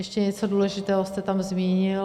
Ještě něco důležitého jste tam zmínil.